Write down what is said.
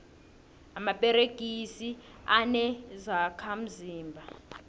amaperegisi anezokha mzimba